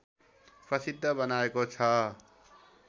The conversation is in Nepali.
प्रसिद्ध बनाएको छ